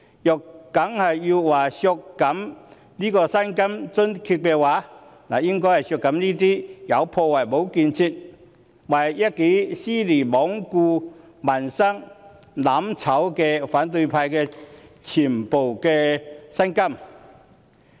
如要削減薪金津貼，應該削減這些"有破壞無建設"、為一己私利罔顧民生、"攬炒"的反對派議員的全部薪金。